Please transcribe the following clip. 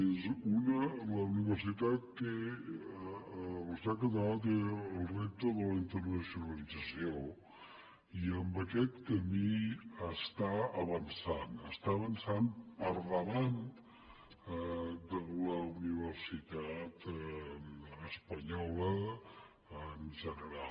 és un que la universitat catalana té el repte de la internacionalització i en aquest camí està avançant està avançant per davant de la universitat espanyola en general